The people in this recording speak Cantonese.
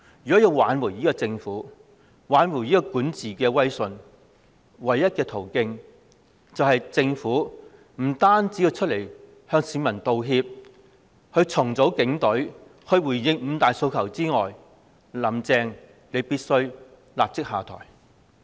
如要挽回政府的管治威信，唯一途徑是除了向市民道歉、重組警隊及回應"五大訴求"外，"林鄭"必須立即下台。